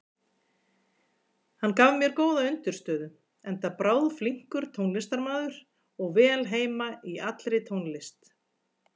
Hann gaf mér góða undirstöðu, enda bráðflinkur tónlistarmaður og vel heima í allri tónlist.